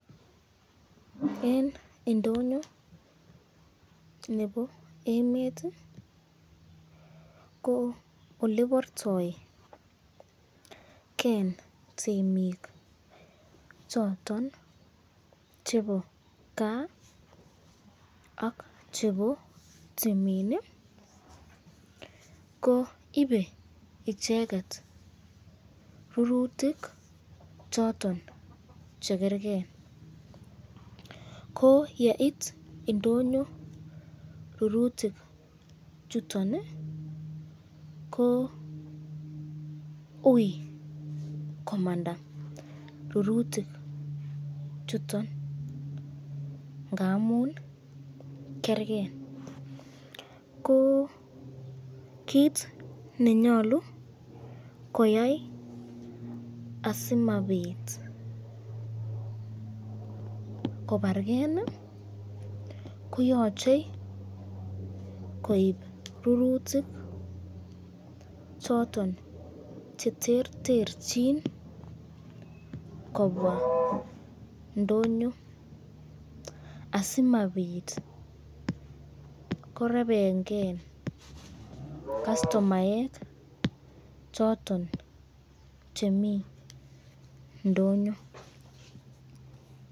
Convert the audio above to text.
Eng indoyo nebo emet ko olebartaken temik choton chebo kaa ak chebo timin ko ibei icheket rurutik choton chekerken, ko yeit indonyo rurutik chuton ko ui komanda rurutik chuton ngamun kerken.ko kit nenyalu koyai asimabit kobarken kiyachei koib rurutik choton cheterterchin kobwa ndonyo asimabit korebebken castomaek choton mi ndonyo.